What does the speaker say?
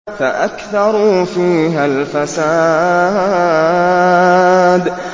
فَأَكْثَرُوا فِيهَا الْفَسَادَ